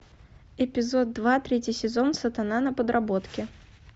эпизод два третий сезон сатана на подработке